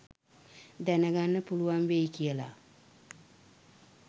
දැන ගන්න පුළුවන් වෙයි කියලා